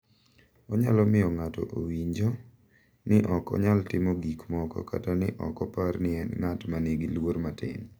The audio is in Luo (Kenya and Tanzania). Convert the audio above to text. Onyalo miyo ng’ato owinjo ni ok onyalo timo gik moko kata ni ok opar ni en ng’at ma nigi luor matin.